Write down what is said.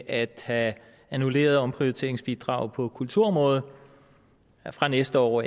at have annulleret omprioriteringsbidraget på kulturområdet fra næste år